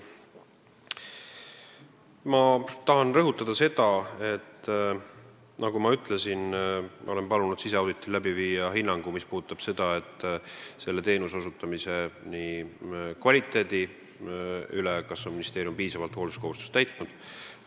Ma tahan rõhutada seda, et nagu ma ütlesin, olen palunud siseauditi käigus anda hinnangu, kas ministeerium on hoolsuskohustust täitnud.